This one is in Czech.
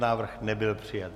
Návrh nebyl přijat.